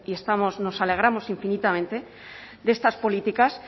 y nos alegramos infinitamente de estas políticas